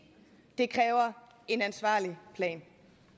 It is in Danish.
det kræver en ansvarlig plan